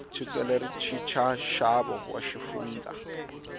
chukele ri chicha xavo wa xifundza